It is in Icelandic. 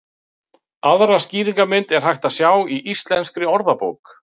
Aðra skýringarmynd er hægt að sjá í Íslenskri orðabók.